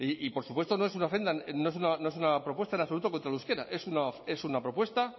y por supuesto no es una propuesta en absoluto contra el euskera es una propuesta